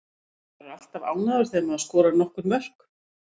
Maður er alltaf ánægður þegar maður skorar nokkur mörk.